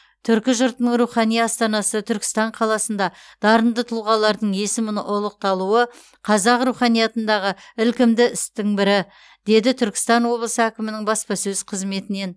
түркі жұртының рухани астанасы түркістан қаласында дарынды тұлғалардың есімі ұлықталуы қазақ руханиятындағы ілкімді істің бірі деді түркістан облысы әкімінің баспасөз қызметінен